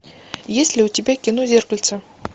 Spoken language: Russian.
есть ли у тебя кино зеркальце